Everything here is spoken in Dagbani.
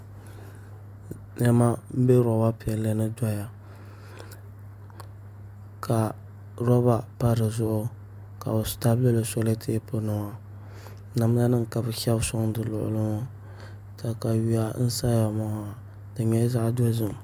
Niɛma n bɛ roba piɛlli ni doya ka roba pa dizuɣu ka bi tabi lili solɛtɛp nima namda nim ka bi shɛbi soŋ di luɣuli ni maa katawiya n saya maa di nyɛla zaɣ dozim